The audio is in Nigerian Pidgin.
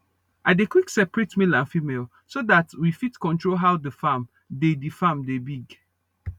i dey quick searate male and female so that w fit control how the farm dey the farm dey big